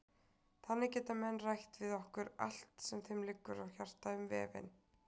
Þannig geta menn rætt við okkur allt sem þeim liggur á hjarta um vefinn.